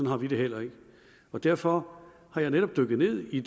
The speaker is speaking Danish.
har vi det heller ikke og derfor er jeg netop dykket ned i